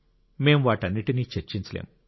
మేం వాటన్నింటినీ చర్చించలేం